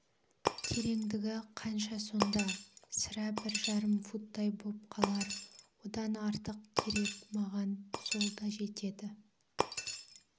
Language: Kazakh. тереңдігі қанша сонда сірә бір жарым футтай боп қалар одан артық керек маған сол да жетеді